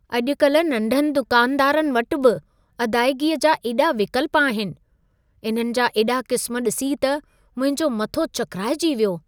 अॼु-कल नंढनि दुकानदारनि वटि बि अदाइगीअ जा एॾा विकल्प आहिनि। इन्हनि जा एॾा क़िस्म ॾिसी त मुंहिंजो मथो चकिराइजी वियो।